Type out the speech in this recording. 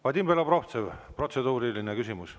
Vadim Belobrovtsev, protseduuriline küsimus.